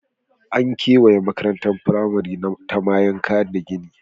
An kewaye makarantar firamare ta mayanka da gini.